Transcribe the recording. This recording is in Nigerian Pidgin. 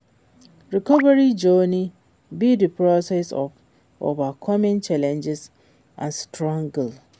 Recovery journey be di process of overcoming challenges and struggles.